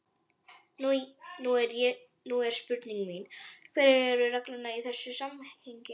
Nú er spurning mín: Hverjar eru reglurnar í þessu samhengi?